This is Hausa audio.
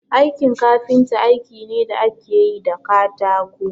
Aikin kafinta aiki ne da ake yi da katako